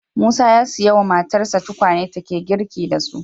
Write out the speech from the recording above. Musa ya siyo wa matarsa tukwane take girki da su